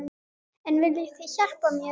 En viljið þið hjálpa mér?